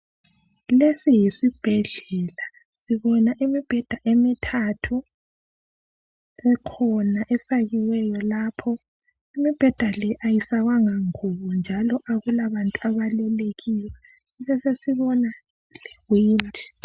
Lesi yisibhedlela. Sibona imibheda emithathu, kukhona efakiweyo lapho, imibheda le ayifakwanga ngubo njalo akulabantu abalele kiyo , besesibona yithi.